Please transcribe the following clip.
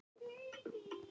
hvísla ég með herkjum.